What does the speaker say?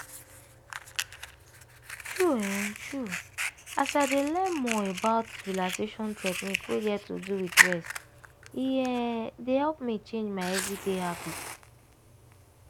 true um true as i dey learn more about relaxation technique wey get to do with rest e um dey help me change my everyday habit.